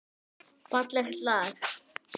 Fallegt lag.